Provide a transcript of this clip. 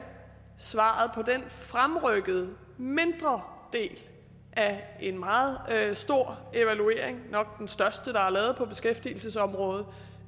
svaret på den fremrykkede mindre del af en meget stor evaluering nok den største der er lavet på beskæftigelsesområdet